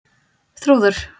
Þrúður